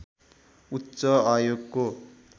उच्च आयोगको